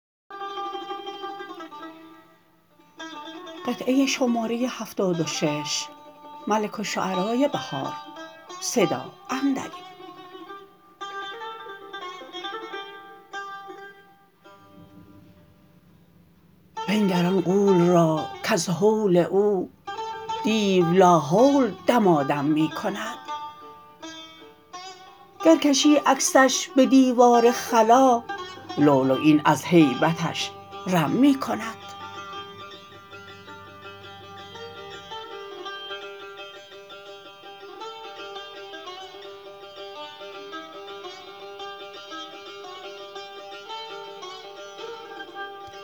بنگر آن غول راکز هول او دیو لاحول دمادم می کند گر کشی عکسش به دیوار خلا لولیین از هیبتش رم می کند